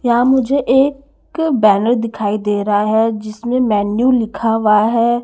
यहाँ मुझे ए क बैनर दिखाई दे रहा है जिसमें मेनू लिखा हुआ है।